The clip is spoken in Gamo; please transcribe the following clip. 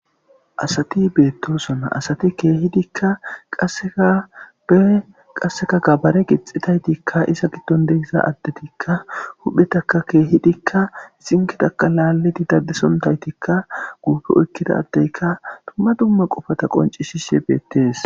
Asati beettosona asati keehidikka qaseabe qasseka gabare gixetaytikka isa giddon degisa addetikka huphetaka keehidikka zinketaka laalidi daddesontaytikka guufe oykkidaddeyka tumma dumma qofata qonci shishe beettees